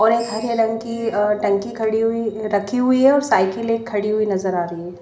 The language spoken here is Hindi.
और एक अः हरे रंग की टंकी खड़ी हुई रखी हुई है और साइकिल एक खड़ी हुई नज़र आ रही है।